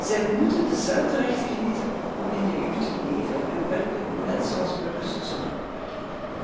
Zij moeten dezelfde rechten genieten om in de EU te leven en werken, net zoals burgers zonder beperking.